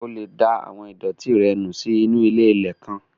O lè da àwọn ìdọ̀ọ̀tí rẹ nù sínu ilé-ilẹ̀ kan